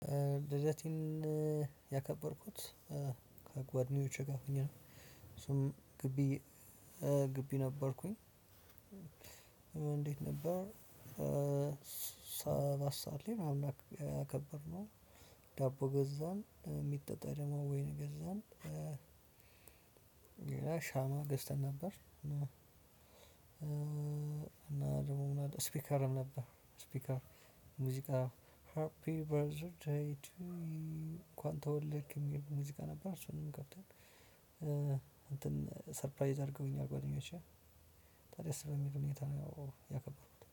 ልደቴን ያከበርኩት ከጓደኞቼ ጋር ሆኜ ነው። እሱም ግቢ ግቢ ነበርኩኝ። እንዴት ነበር? ሰባት ሰዓት ላይ አከበርነው። ዳቦ ገዛን የሚጠጣ ደግሞ ወይን ገዛን። ሌላ ሻማ ገዝተን ነበር። እና ደግሞ ስፒከር ነበር ስፒከር ሙዚቃ ሃፒ በርዘር ዴይ ቱ ዩ እንኳን ተወለድክ የሚል ሙዚቃ ነበር። እሱንም ከፍተን እንትን ሰርፕራይዝ አድርገውኛል ጓደኞቼ። በቃ ደስ በሚል ሁኔታ ነው ያከበሩት